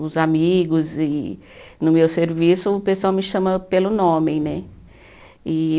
Os amigos, e no meu serviço, o pessoal me chama pelo nome né E.